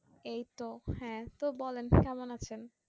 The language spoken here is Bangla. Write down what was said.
এই তো হ্যাঁ তো বলেন কেমন আছেন?